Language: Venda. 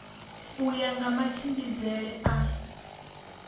u ya nga matshimbidzele a